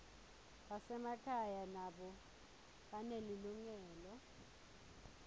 basemakhaya nabo banelilungelo